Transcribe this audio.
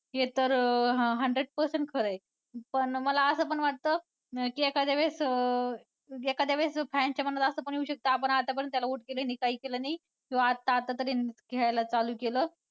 हे तर हां hundred percent खरं आहे. मला असं पण वाटतं की एखाद्या वेळेस अं fan च्या मनात असं पण येऊ शकतं आपण आतापर्यंत त्याला vote केलं नाही काही केलं नाही किंवा आता आता तरी खेळायला चालू केलं.